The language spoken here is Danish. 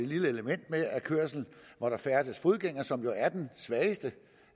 lille element med at ved kørsel hvor der færdes fodgængere som jo er de svageste